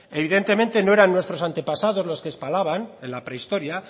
evidentemente no eran nuestros antepasado los que espalaban en la prehistoria